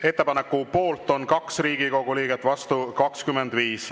Ettepaneku poolt on 2 Riigikogu liiget, vastu 25.